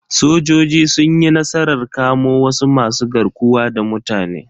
Sojoji sun yi nasarar kamo wasu masu garkuwa da mutane.